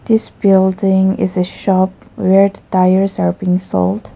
This building is a shop red tyres are being sold.